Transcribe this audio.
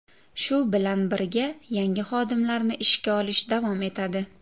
Shu bilan birga, yangi xodimlarni ishga olish davom etadi.